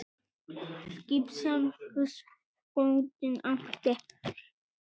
Skip sem húsbóndinn átti?